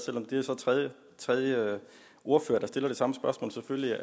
det er så tredje tredje ordfører der stiller det samme spørgsmål